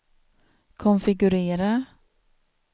konfigurera